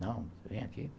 Não, vem aqui.